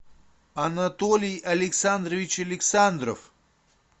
анатолий александрович александров